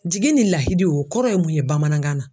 Jigi ni lahidi o o kɔrɔ ye mun ye bamanankan na?